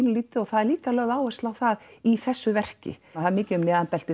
svolítið og það er líka lögð áhersla á það í þessu verki það er mikið um